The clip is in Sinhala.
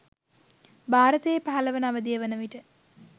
භාරතයෙහි පහළවන අවධිය වන විට